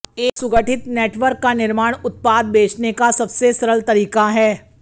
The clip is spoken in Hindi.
एक सुगठित नेटवर्क का निर्माण उत्पाद बेचने का सब से सरल तरीका है